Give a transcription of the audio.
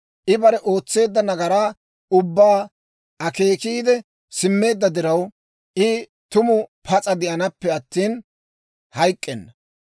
I bare ootseedda nagaraa ubbaa akeekiide simmeedda diraw, I tumu pas'a de'anaappe attina hayk'k'enna.